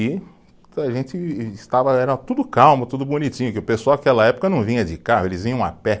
E a gente estava, era tudo calmo, tudo bonitinho, porque o pessoal aquela época não vinha de carro, eles vinham a pé.